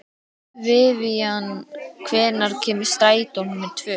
Vivian, hvenær kemur strætó númer tvö?